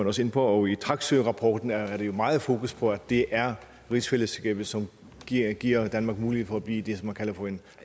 også ind på og i taksørapporten er der meget fokus på at det er rigsfællesskabet som giver giver danmark mulighed for at blive det som man kalder for en